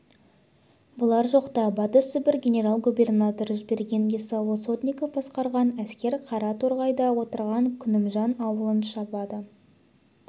бұлар жоқта батыс сібір генерал-губернаторы жіберген есауыл сотников басқарған әскер қара торғайда отырған күнімжан аулын шабады